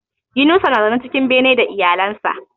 Yunusa na zaune cikin bene da iyalan sa